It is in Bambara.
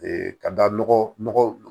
ka da nɔgɔ nɔgɔ